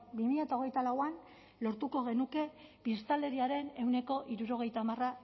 bi mila hogeita lauan lortuko genuke biztanleriaren ehuneko hirurogeita hamar